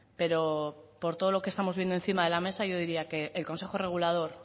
pero por todo lo que estamos viendo encima de la mesa yo diría que el consejo regulador